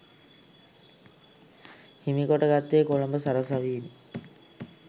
හිමි කොට ගත්තේ කොළඹ සරසවියෙන්.